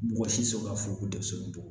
Mɔgɔ si sɔn ka fo ko denmisɛn